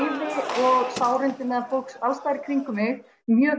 og sárindi meðal fólks alls staðar í kringum mig mjög